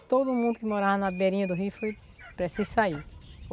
todo mundo que morava na beirinha do rio, foi... Precisa sair.